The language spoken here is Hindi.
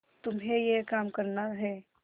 तुम्हें यह काम करना है